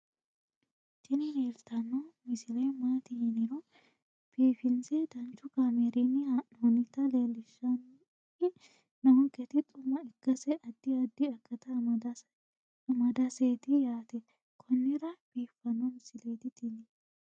tini leeltanni noo misile maaati yiniro biifinse danchu kaamerinni haa'noonnita leellishshanni nonketi xuma ikkase addi addi akata amadaseeti yaate konnira biiffanno misileeti tini